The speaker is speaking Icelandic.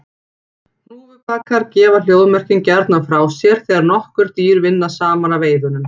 Hnúfubakar gefa hljóðmerkin gjarnan frá sér þegar nokkur dýr vinna saman að veiðunum.